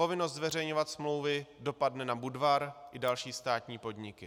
Povinnost zveřejňovat smlouvy dopadne na Budvar i další státní podniky.